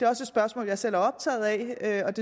også et spørgsmål jeg selv er optaget af